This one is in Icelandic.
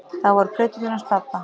Það voru plöturnar hans pabba.